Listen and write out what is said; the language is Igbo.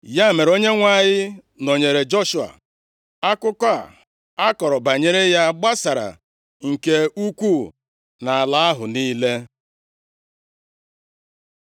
Ya mere, Onyenwe anyị nọnyeere Joshua. Akụkọ a kọrọ banyere ya gbasara nke ukwuu nʼala ahụ niile.